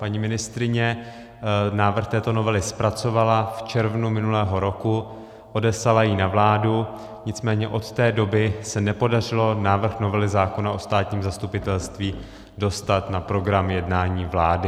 Paní ministryně návrh této novely zpracovala v červnu minulého roku, odeslala ji na vládu, nicméně od té doby se nepodařilo návrh novely zákona o státním zastupitelství dostat na program jednání vlády.